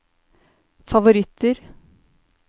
favoritter